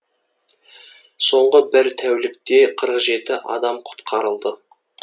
соңғы бір тәулікте қырық жеті адам құтқарылды